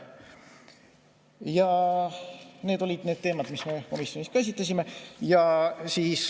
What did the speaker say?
Need olid need teemad, mida me komisjonis käsitlesime.